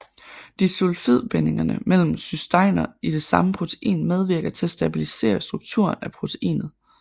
Disulfidbindinger mellem cysteiner i det samme protein medvirker til at stabilisere strukturen af proteinet